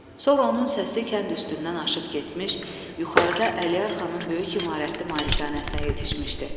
Sonra onun səsi kənd üstündən aşıb getmiş, yuxarıda Əliyarxanın böyük imarətli malikanəsinə yetişmişdi.